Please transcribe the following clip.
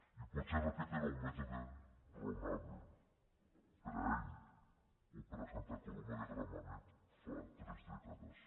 i potser aquest era un mètode raonable per a ell o per a santa coloma de gramenet fa tres dècades